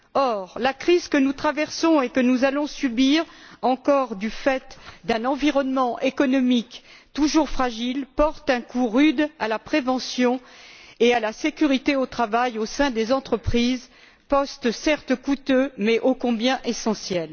Or, la crise que nous traversons et que nous allons subir encore du fait d'un environnement économique toujours fragile porte un coup rude à la prévention et à la sécurité au travail au sein des entreprises, postes certes coûteux mais ô combien essentiels.